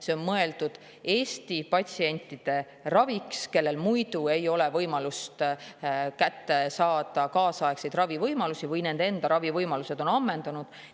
See on mõeldud Eesti patsientide raviks, kellel muidu ei ole võimalust kätte saada kaasaegseid ravivõimalusi või kelle ravivõimalused on ammendunud.